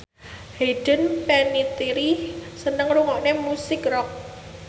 Hayden Panettiere seneng ngrungokne musik rock